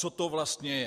Co to vlastně je?